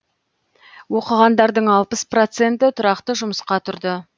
оқығандардың алпыс проценті тұрақты жұмысқа тұрды